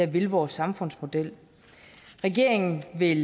vil vores samfundsmodel regeringen vil